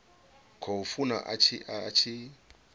khou funa a tshi a